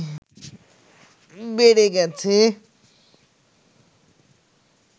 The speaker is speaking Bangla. বেড়ে গেছে